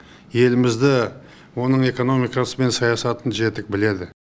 елімізді оның экономикасы мен саясатын жетік біледі